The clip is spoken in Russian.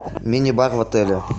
мини бар в отеле